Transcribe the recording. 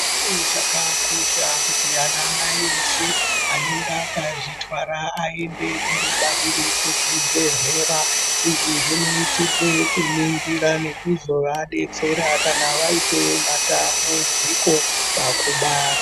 Chinhu chakakosha kuti anamai eshe anenge akazvitwara aende kundobarira kuzvibhedhlera .Izvi zvinoita kuningira nekuzovadetsera kana vaite matambudziko pakubara .